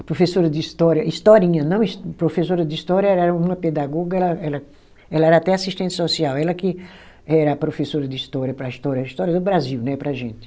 A professora de história, historinha, não his, professora de história era uma pedagoga era ela, ela era até assistente social, ela que era a professora de história para a História, história do Brasil né, para a gente.